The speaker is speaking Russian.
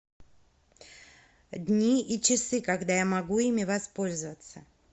дни и часы когда я могу ими воспользоваться